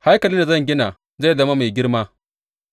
Haikalin da zan gina zai zama mai girma,